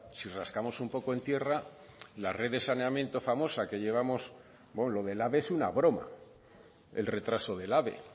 si rascamos un poco en tierra la red de saneamiento famosa que llevamos bueno lo del ave es una broma el retraso del ave